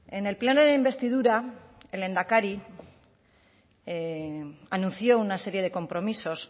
en el pleno de investidura el lehendakari anunció una serie de compromisos